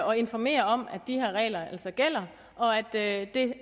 og informere om at de her regler altså gælder og at at det